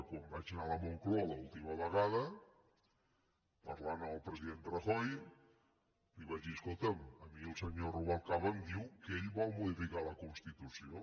quan vaig anar a la moncloa l’última vegada parlant amb el president rajoy li vaig dir escolta’m a mi el senyor rubalcaba em diu que ell vol modificar la constitució